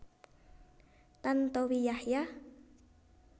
Tantowi Yahya